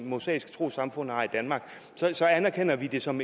mosaiske troessamfund har i danmark så anerkender vi det som